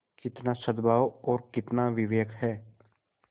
कितना सदभाव और कितना विवेक है